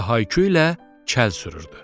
Və hayküyülə kəl sürürdü.